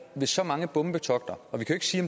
med så mange bombetogter og vi kan ikke sige